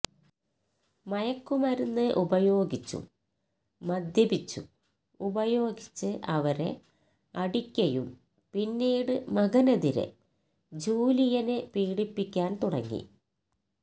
മയക്കുമരുന്ന് ഉപയോഗിച്ചും മദ്യപിച്ചും ഉപയോഗിച്ച് അവരെ അടിക്കയും പിന്നീട് മകനെതിരെ ജൂലിയനെ പീഡിപ്പിക്കാൻ തുടങ്ങി